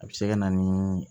A bɛ se ka na ni